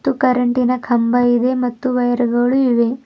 ಮತ್ತು ಕರೆಂಟಿನ ನ ಕಂಬ ಇದೆ ಮತ್ತು ವೈರ್ ಗಳು ಇವೆ.